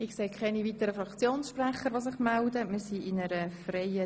Ich sehe keine weiteren Fraktionssprecher und keine Einzelsprecher.